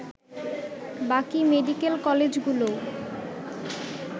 বাকি মেডিকেল কলেজগুলোও